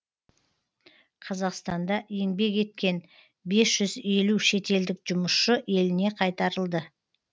қазақстанда еңбек еткен бес жүз елу шетелдік жұмысшы еліне қайтарылды